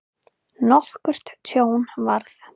Nokkurt tjón varð.